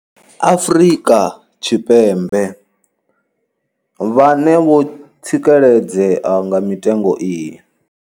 Afrika Tshipembe vhane vho tsikeledzea nga mitengo iyi.